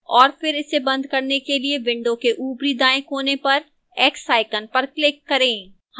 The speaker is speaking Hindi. और फिर इसे and करने के लिए window के ऊपरी दाएं कोने पर x icon पर click करें